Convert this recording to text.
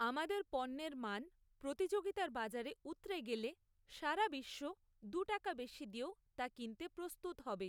আমাদের পণ্যের মান প্রতিযোগিতার বাজারে উৎরে গেলে সারা বিশ্ব দু টাকা বেশি দিয়েও তা কিনতে প্রস্তুত হবে।